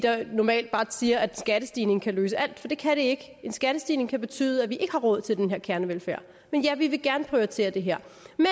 normalt bare siger at en skattestigning kan løse alt for det kan den ikke en skattestigning kan betyde at vi ikke har råd til den her kernevelfærd men ja vi vil gerne prioritere det her